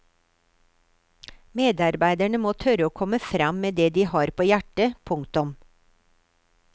Medarbeiderne må tørre å komme fram med det de har på hjertet. punktum